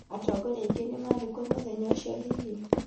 Atongoria aingĩ nĩmarĩ kuo mũthenya ũcio hihi?